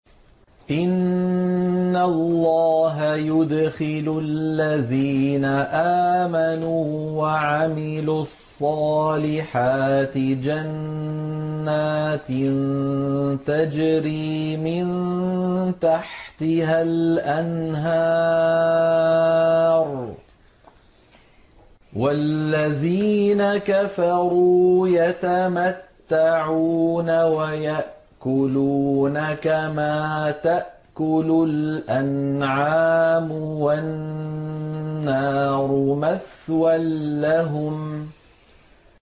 إِنَّ اللَّهَ يُدْخِلُ الَّذِينَ آمَنُوا وَعَمِلُوا الصَّالِحَاتِ جَنَّاتٍ تَجْرِي مِن تَحْتِهَا الْأَنْهَارُ ۖ وَالَّذِينَ كَفَرُوا يَتَمَتَّعُونَ وَيَأْكُلُونَ كَمَا تَأْكُلُ الْأَنْعَامُ وَالنَّارُ مَثْوًى لَّهُمْ